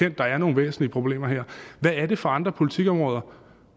at der er nogle væsentlige problemer her hvad er det for andre politikområder